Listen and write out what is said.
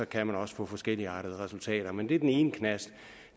kan man også få forskelligartede resultater men det er den ene knast